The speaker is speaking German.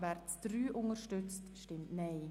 wer dem Änderungsantrag 5 zustimmt, stimmt Nein.